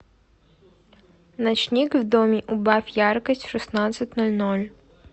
ночник в доме убавь яркость в шестнадцать ноль ноль